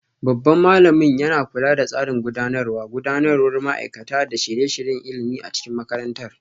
Babban malamin yana kula da tsarin gudanarwa, gudanarwar ma'aikata, da shirye-shiryen ilimi a cikin makarantar.